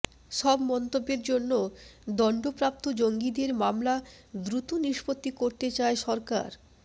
সব মন্তব্যের জন্য দণ্ডপ্রাপ্ত জঙ্গিদের মামলা দ্রুত নিষ্পত্তি করতে চায় সরকার